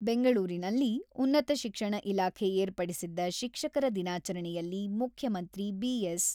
ಬೆಂಗಳೂರಿನಲ್ಲಿ ಉನ್ನತ ಶಿಕ್ಷಣ ಇಲಾಖೆ ಏರ್ಪಡಿಸಿದ್ದ ಶಿಕ್ಷಕರ ದಿನಾಚರಣೆಯಲ್ಲಿ ಮುಖ್ಯಮಂತ್ರಿ ಬಿ.ಎಸ್.